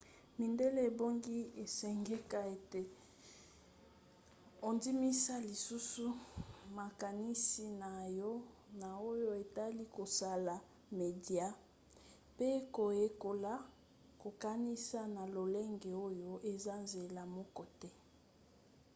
midele ebongi esengeka ete ondimisa lisusu makanisi na yo na oyo etali kosala media mpe koyekola kokanisa na lolenge oyo eza nzela moko te